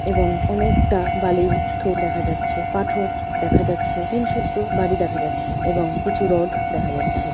এবং অনেকটা বালির স্থুপ দেখা যাচ্ছে | পাথর দেখা যাচ্ছে| টিন শুদ্ধ বাড়ি দেখা যাচ্ছে এবং কিছু রোড দেখা যাচ্ছে।